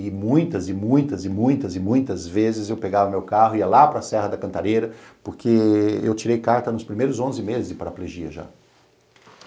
E muitas, e muitas, e muitas, e muitas vezes eu pegava meu carro, ia lá para Serra da Cantareira, porque eu tirei carta nos primeiros onze meses de paraplegia já.